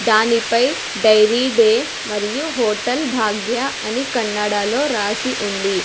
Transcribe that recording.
దానిపై dairy day మరియు hotel Bhagya అని కన్నడలో రాసి ఉంది.